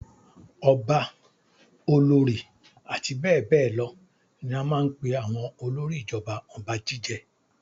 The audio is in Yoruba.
Ọba, olórí àti bẹ́ẹ̀ bẹ́ẹ̀ lọ ní a máa ń pe àwọn olórí ìjọba ọba jíjẹ.